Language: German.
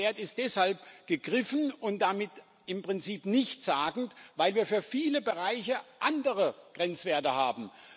Und dieser Wert ist deshalb gegriffen und damit im Prinzip nichtssagend, weil wir für viele Bereiche andere Grenzwerte haben.